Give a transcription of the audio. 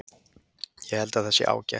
Ég held að það sé ágætt.